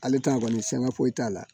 Ale t'a kɔni sɛgɛn fo t'a la